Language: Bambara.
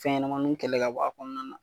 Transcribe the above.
Fɛnɲɛnɛmaninw kɛlɛ ka bɔ a kɔnɔna na.